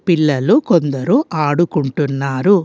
పిల్లలు కొందరు ఆడుకుంటున్నారు.